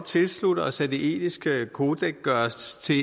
tilslutte os at det etiske kodeks gøres til